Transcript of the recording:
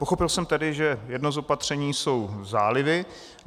Pochopil jsem tedy, že jedno z opatření jsou zálivy.